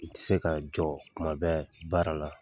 N ti se ka jɔ kuma bɛɛ baara la.